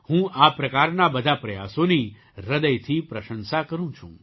હું આ પ્રકારના બધા પ્રયાસોની હૃદયથી પ્રશંસા કરું છું